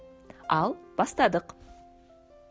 ал бастадық